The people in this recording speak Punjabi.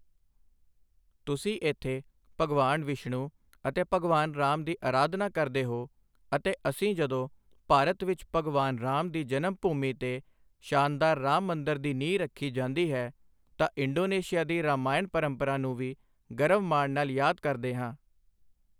ਤੁਸੀਂ ਇੱਥੇ ਭਗਵਾਨ ਵਿਸ਼ਣੁ ਅਤੇ ਭਗਵਾਨ ਰਾਮ ਦੀ ਅਰਾਧਨਾ ਕਰਦੇ ਹੋ ਅਤੇ ਅਸੀਂ ਜਦੋਂ ਭਾਰਤ ਵਿੱਚ ਭਗਵਾਨ ਰਾਮ ਦੀ ਜਨਮ ਭੂਮੀ ਤੇ ਸ਼ਾਨਦਾਰ ਰਾਮ ਮੰਦਿਰ ਦੀ ਨੀਂਹ ਰੱਖੀ ਜਾਂਦੀ ਹੈ ਤਾਂ ਇੰਡੋਨੇਸ਼ੀਆ ਦੀ ਰਾਮਾਯਣ ਪਰੰਪਰਾ ਨੂੰ ਵੀ ਗਰਵ ਮਾਣ ਨਾਲ ਯਾਦ ਕਰਦੇ ਹਾਂ।